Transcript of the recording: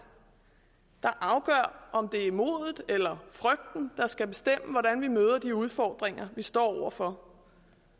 der afgør om det er modet eller frygten der skal bestemme hvordan vi møder de udfordringer vi står over for